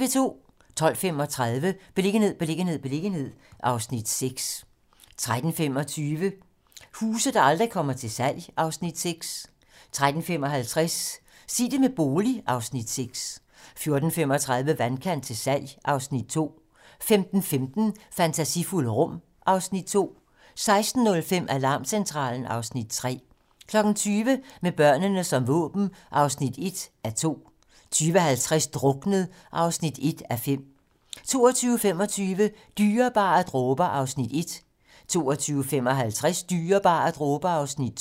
12:35: Beliggenhed, beliggenhed, beliggenhed (Afs. 6) 13:25: Huse, der aldrig kommer til salg (Afs. 6) 13:55: Sig det med bolig (Afs. 6) 14:35: Vandkant til salg (Afs. 2) 15:15: Fantasifulde rum (Afs. 2) 16:05: Alarmcentralen (Afs. 3) 20:00: Med børnene som våben (1:2) 20:50: Druknet (1:5) 22:25: Dyrebare dråber (1:3) 22:55: Dyrebare dråber (2:3)